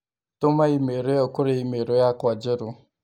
Tũma i-mīrū ĩyo kurĩ i-mīrū yakwa njerũ